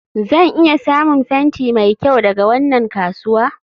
zan iya samun fenti mai kyau daga wannan kasuwa?